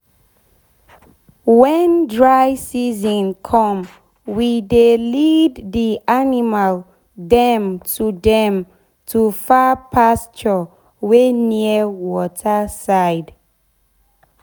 wen dry season come we dey lead d animal dem to dem to far pasture wey near water side.